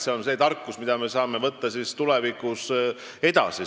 See on tarkus, mida me saame võtta tulevikku kaasa.